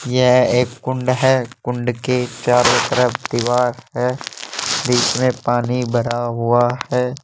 यह एक कुंड है कुंड के चारो तरफ दीवार है बीच में पानी भरा हुआ है।